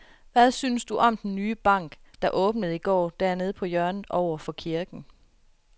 Hvad synes du om den nye bank, der åbnede i går dernede på hjørnet over for kirken?